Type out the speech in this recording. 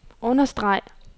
understreg